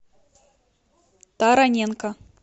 тараненко